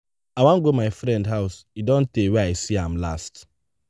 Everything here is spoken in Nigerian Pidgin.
i wan go my friend house e don tey wen i see am last.